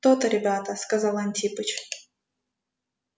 то-то ребята сказал антипыч